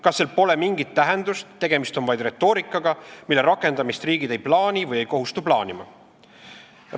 Kas sel pole mingit tähendust, tegemist on vaid retoorikaga, mille rakendamist riigid ei plaani või ei kohustu plaanima?